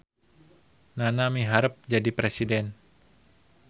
Nana miharep jadi presiden